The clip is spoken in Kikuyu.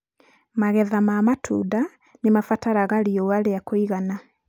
magetha ma matunda nĩ mabataraga riũa rĩa kũigana.